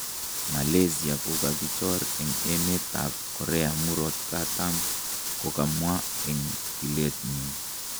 Malaysia kokokichor eng emet tab korea murot katam, kokamwa eng tilenyin